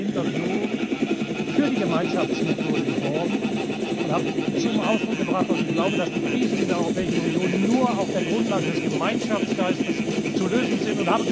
Ich habe in einem Interview für die Gemeinschaftsmethode geworben und zum Ausdruck gebracht, dass ich glaube, dass die Krisen in der Europäischen Union nur auf der Grundlage des Gemeinschaftsgeistes zu lösen sind.